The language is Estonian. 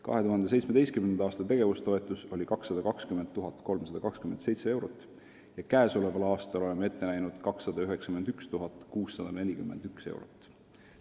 2017. aasta tegevustoetus oli 220 327 eurot, käesolevaks aastaks oleme ette näinud 291 641 eurot.